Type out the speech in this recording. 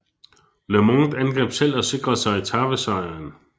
LeMond angreb selv og sikrede sig etapesejren